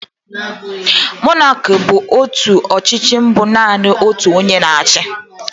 Monaki bụ ọchịchị bụ naanị otu onye na achị.